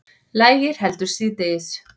Lægir heldur síðdegis